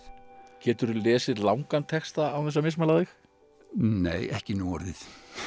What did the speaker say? geturðu lesið langan texta án þess að mismæla þig nei ekki nú orðið